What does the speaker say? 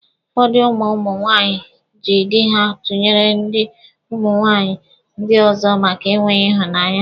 Ụfọdụ ụmụ ụmụ nwaanyị jị dị ha tụnyere dị ụmụ nwaanyị ndị ọzọ maka enweghị ịhụnanya.